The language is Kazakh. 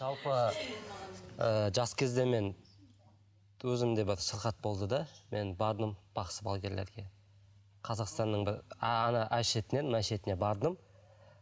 жалпы ы жас кезде мен өзімде бір сырқат болды да мен бардым бақсы балгерлерге қазақстанның бір ана әр шетінен мына шетіне бардым